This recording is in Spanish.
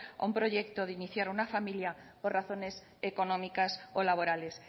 a un proyecto de iniciar una familia por razones económicas o laborales